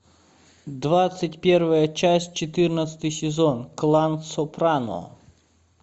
двадцать первая часть четырнадцатый сезон клан сопрано